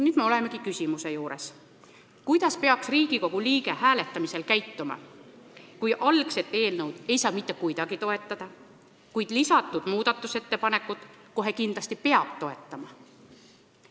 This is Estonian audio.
Nüüd me olemegi küsimuse juures, kuidas peaks Riigikogu liige hääletamisel käituma, kui algset eelnõu ei saa mitte kuidagi toetada, kuid lisatud muudatusettepanekut kohe kindlasti peab toetama.